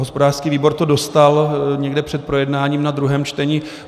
Hospodářský výbor to dostal někde před projednáním na druhém čtení.